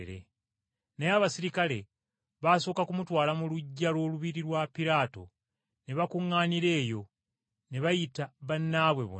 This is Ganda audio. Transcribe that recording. Naye abaserikale baasooka kumutwala mu luggya lw’olubiri, oluyitibwa Pulayitoliyo ne bakuŋŋaanira eyo, ne bayita bannaabwe bonna.